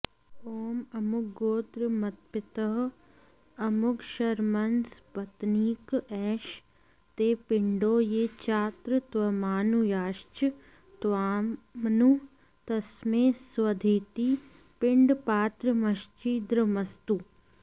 ॐ अमुकगोत्र मत्पितः अमुकशर्मन्सपत्नीक एष ते पिण्डो ये चात्रत्वामनुयाश्च त्वामनु तस्मै स्वधेति पिण्डपात्रमच्छिद्रमस्तु